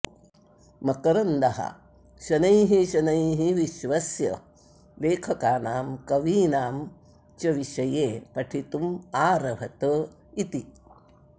मकरन्दः शनैः शनैः विश्वस्य लेखकानां कवीनां च विषये पठितुम् आरभत इति